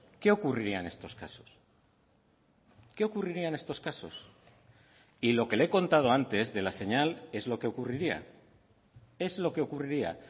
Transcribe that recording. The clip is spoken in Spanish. qué ocurriría en estos casos qué ocurriría en estos casos y lo que le he contado antes de la señal es lo que ocurriría es lo que ocurriría